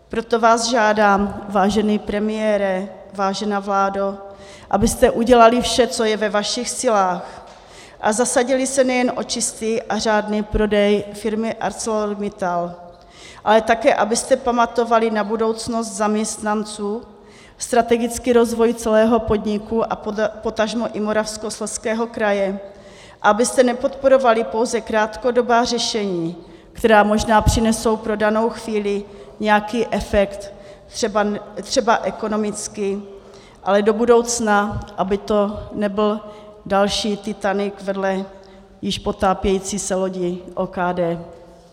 Proto vás žádám, vážený premiére, vážená vládo, abyste udělali vše, co je ve vašich silách a zasadili se nejen o čistý a řádný prodej firmy ArcelorMittal, ale také abyste pamatovali na budoucnost zaměstnanců, strategický rozvoj celého podniku a potažmo i Moravskoslezského kraje, abyste nepodporovali pouze krátkodobá řešení, která možná přinesou pro danou chvíli nějaký efekt, třeba ekonomický, ale do budoucna aby to nebyl další Titanic vedle již potápějící se lodi OKD.